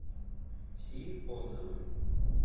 си отзывы